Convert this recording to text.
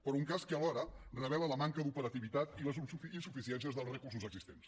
però un cas que alhora revela la manca d’operativitat i les insuficiències dels recursos existents